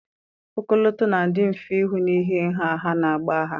Ọkọlọtọ na-adị mfe ịhụ n'ihi nha ha na agba ha